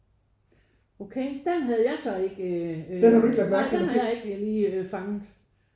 Okay den havde jeg så ikke øh nej den havde jeg ikke lige fanget